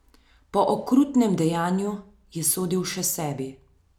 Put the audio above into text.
Po okrutnem dejanju je sodil še sebi.